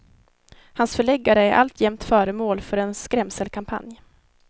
Hans förläggare är alltjämt föremål för en skrämselkampanj.